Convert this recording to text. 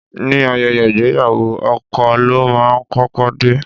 Ní ayẹyẹ ìgbéyàwó, ọkọ ló máa ń kọ́kọ́ dé.